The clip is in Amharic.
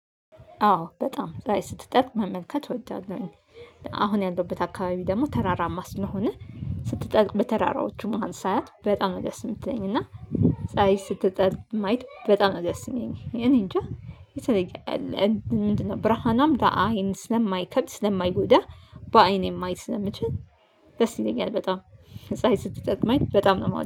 አዎ በጣም ላይ ፀሀይ ስትጠልቅ መመልከት እወዳለሁኝ። አሁን ያለሁበት አካባቢ ደግሞ ተራራማ ስለሆነ ስትጠልቅ በተራራዎቹ መሃል ሳያት በጣም አደስ የምትለኝ እና ፀሀይ ስትጠልቅም ማየት በጣም ደስ የምለኝ እኔ እንጃ የተለየ አለ። ምንድነው ብርሃናም ለአይን ስለማይከብድ ስለማይጎዳ። በአይኔ ማየት ነው ስለምችል ደስ ይለኛል በጣም። ፀሀይ ስትጠልቅ ማየት በጣም ነው